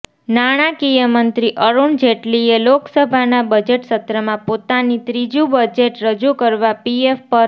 નાણાકીય મંત્રી અરુણ જેટલીએ લોકસભાના બજેટ સત્રમાં પોતાની ત્રીજુ બજેટ રજુ કરતા પીએફ પર